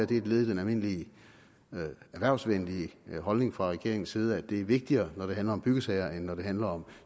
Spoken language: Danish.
det er et led i den almindelige erhvervsvenlige holdning fra regeringens side at det er vigtigere når det handler om byggesager end når det handler om